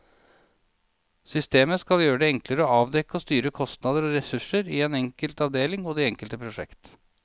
Systemet skal gjøre det enklere å avdekke og styre kostnader og ressurser i den enkelte avdeling og i det enkelte prosjekt.